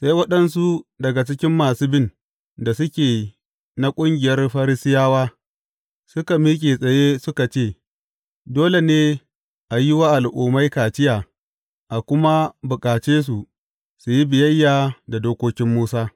Sai waɗansu daga cikin masu bin da suke na ƙungiyar Farisiyawa suka miƙe tsaye suka ce, Dole ne a yi wa Al’ummai kaciya a kuma bukace su su yi biyayya da dokokin Musa.